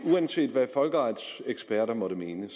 uanset hvad folkeretseksperter måtte mene